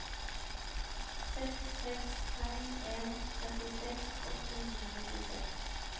seks seks fem en trettiseks åtte hundre og nittiseks